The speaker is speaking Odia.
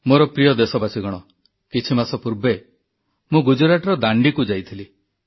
ମୋର ପ୍ରିୟ ଦେଶବାସୀଗଣ କିଛି ମାସ ପୂର୍ବେ ମୁଁ ଗୁଜରାଟର ଦାଣ୍ଡିକୁ ଯାଇଥିଲି